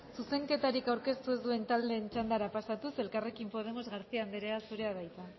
zuzenketarik aurkeztu ez duen taldeen txandara pasatuz elkarrekin podemos garcía anderea zurea da hitza